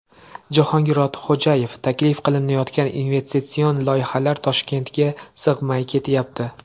Jahongir Ortiqxo‘jayev: Taklif qilinayotgan investitsion loyihalar Toshkentga sig‘may ketyapti.